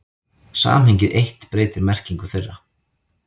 Samhengið eitt breytir merkingu þeirra.